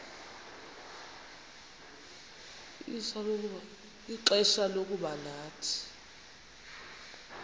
ixfsha lokuba nathi